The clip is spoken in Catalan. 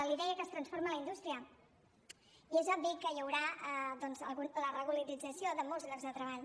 li deia que es transforma la indústria i és obvi que hi haurà doncs la regularització de molts llocs de treball